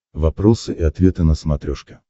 вопросы и ответы на смотрешке